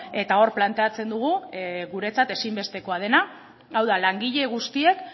eta hor planteatzen dugu guretzat ezinbestekoa dena hau da langile guztiek